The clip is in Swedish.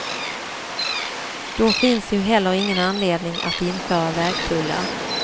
Då finns ju heller ingen anledning att införa vägtullar.